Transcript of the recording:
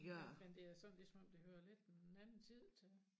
Men men det sådan ligesom om det hører en anden tid til